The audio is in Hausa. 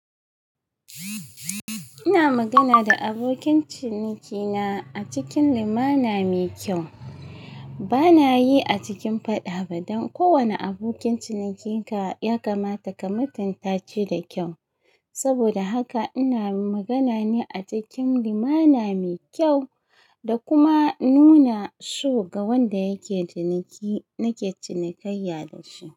Ina magana da abokin cinikina a cikin limana mai kyau. Bana yi a cikin faɗa ba don kowane abokin cinikinka ya kamata ka mutunta shi da kyau. Saboda haka ina magana ne a cikin limana mai kyau da kuma nuna so ga wanda yake ciniki nake cinikayya da shi.